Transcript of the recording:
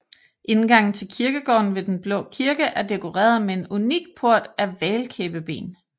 Indgangen til kirkegården ved den Blå Kirke er dekoreret med en unik port af hval kæbeben